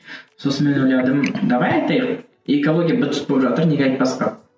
сосын мен ойладым давай ты экология быт шыт болып жатыр неге айтпасқа